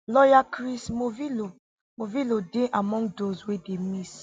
lawyer chris morvillo morvillo dey among those wey dey miss